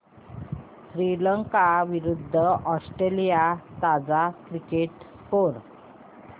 श्रीलंका विरूद्ध ऑस्ट्रेलिया ताजा cricket score